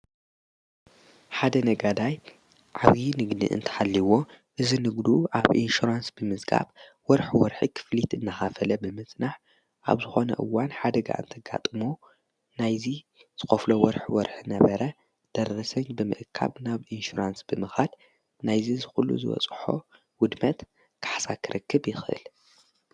ሓደ ነጋዳይ ዓብዪ ንግኒ እንተሓሊይዎ እዝ ንግዱ ኣብ ኢንሸራንስ ብምዝጋብ ወርኅ ወርሒ ኽፍሊት እናኻፈለ ብምጽናዕ ኣብዝኾነ እዋን ሓደጋ እንተጋጥሞ ናይዙ ዝኾፍሎ ወርኅ ወርኅ ነበረ ደረሰኛ ብምእካብ ናብ ኢንሽራንስ ብምኻድ ናይዝ ዝዂሉ ዝወጽሖ ውድመት ካሓሳክርክብ ይኽል።